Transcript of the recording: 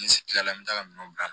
N se kilala n bɛ taa minɛnw bila